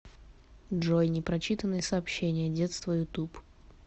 джой непрочитанные сообщения детство ютуб